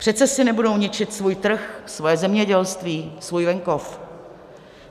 Přece si nebudou ničit svůj trh, svoje zemědělství, svůj venkov!